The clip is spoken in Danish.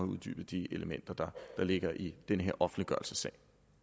uddybet de elementer der ligger i den her offentliggørelsessag